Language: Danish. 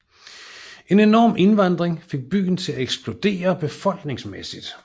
En enorm indvandring fik byen til at eksplodere befolkningsmæssigt